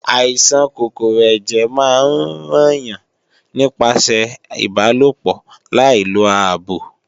Àìsàn kòkòrò ẹ̀jẹ̀ máa ń ràn yàn nípasẹ̀ ìbálòpọ̀ láì lo ààbò